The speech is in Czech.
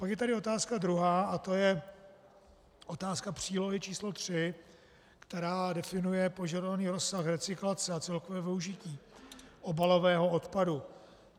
Pak je tady otázka druhá a to je otázka přílohy č. 3, která definuje požadovaný rozsah recyklace a celkové využití obalového odpadu.